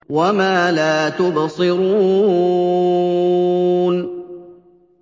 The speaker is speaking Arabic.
وَمَا لَا تُبْصِرُونَ